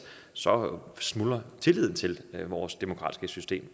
så smuldrer tilliden til vores demokratiske system